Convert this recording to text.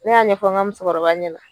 Ne y'a ɲɛfɔ ŋa musokɔrɔba ɲɛna